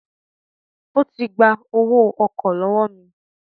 Ó ti gba owó ọkọ̀ lọ́wọ́ mi